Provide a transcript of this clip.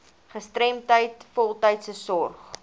gestremdheid voltydse sorg